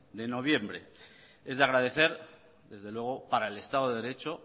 de noviembre es de agradecer desde luego para el estado de derecho